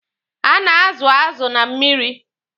A na-azụ azụ na mmiri.